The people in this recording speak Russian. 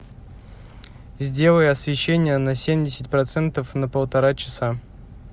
сделай освещение на семьдесят процентов на полтора часа